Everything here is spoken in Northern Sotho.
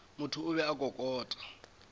motho o be a kokota